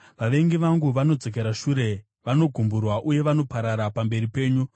Vavengi vangu vanodzokera shure; vanogumburwa uye vanoparara pamberi penyu.